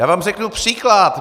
Já vám řeknu příklad.